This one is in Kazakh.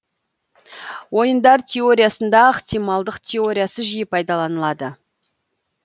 ойындар теориясында ықтималдық теориясы жиі пайдаланылады